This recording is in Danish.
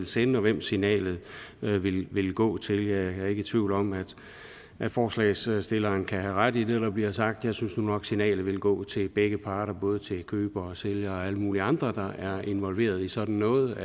sende og hvem signalet vil vil gå ud til jeg er ikke i tvivl om at forslagsstillerne kan have ret i det der bliver sagt jeg synes nu nok at signalet vil gå ud til begge parter både til køber og sælger og alle mulige andre der er involveret i sådan noget